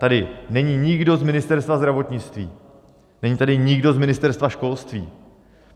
Tady není nikdo z Ministerstva zdravotnictví, není tady nikdo z Ministerstva školství.